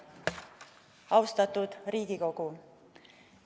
Austatud Riigikogu!